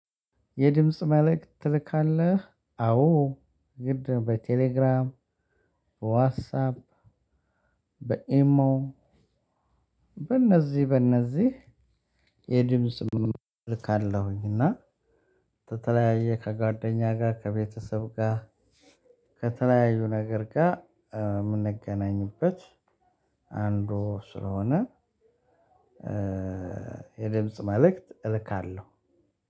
የድምጽ መልእክት ትልካለህ አዎ ግድ በቴሌግራም ዋትሳፕ በኤሞ በእነዚህ በእነዚህ የድምጽ ምንም ልካለሁኝ እና በተለያየ ከጓደኛ ጋር ከቤተሰብ ጋር ከተለያዩ ነገር ጋር የምንገናኝበት አንዱ ስለሆነ። የድምጽ መልእክት እልካለሁ።